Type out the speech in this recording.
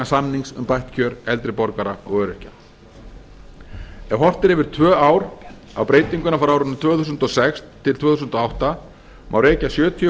samnings um bætt kjör eldri borgara og öryrkja ef horft er yfir tvö ár á breytinguna frá árinu tvö þúsund og sex til tvö þúsund og átta má rekja sjötíu